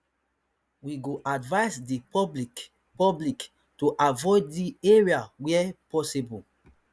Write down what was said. we go advise di public public to avoid di area where possible